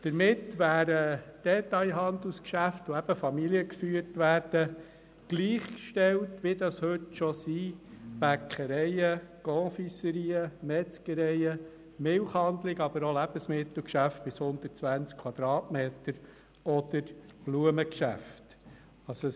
Damit wären familiengeführte Detailhandelsgeschäfte denen gleichgestellt, die das heute schon dürfen: Bäckereien, Konfiserien, Metzgereien, Milchhandlungen, aber auch Lebensmittelgeschäfte bis zu einer Ladenfläche von 120 Quadratmeter oder Blumengeschäfte.